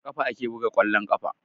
Da ƙafa ake buga ƙwallon ƙafa